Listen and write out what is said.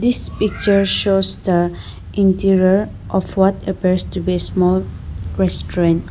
This picture shows the interior of what appears to be small restaurant.